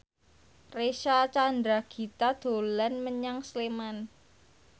Reysa Chandragitta dolan menyang Sleman